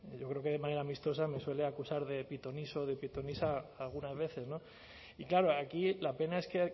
yo creo que de manera amistosa me suele acusar de pitoniso o de pitonisa algunas veces y claro aquí la pena es que